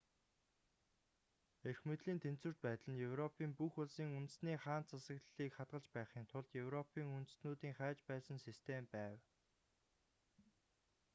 эрх мэдлийн тэнцвэрт байдал нь европын бүх улсын үндэсний хаант засаглалыг хадгалж байхын тулд европын үндэстнүүдийн хайж байсан систем байв